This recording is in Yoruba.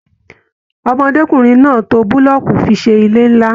Ọmọdékunrin náà tó bulọọku fi ṣe ilé nlá.